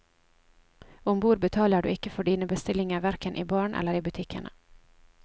Om bord betaler du ikke for dine bestillinger hverken i baren eller i butikkene.